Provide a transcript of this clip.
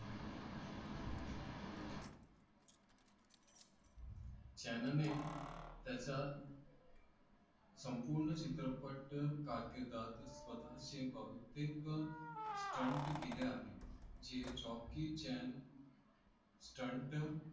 चानने त्याच्या संपूर्ण चित्रपट कारकीर्दीत स्वतःची बहुतेक स्टंट केले आहेत. जे जॉकी चान स्टंट